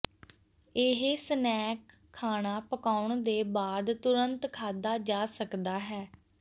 ਇਹ ਸਨੈਕ ਖਾਣਾ ਪਕਾਉਣ ਦੇ ਬਾਅਦ ਤੁਰੰਤ ਖਾਧਾ ਜਾ ਸਕਦਾ ਹੈ